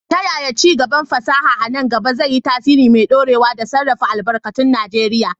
Ta yaya ci gaban fasaha a nan gaba zai yi tasiri mai dorewa da sarrafa albarkatun Najeriya?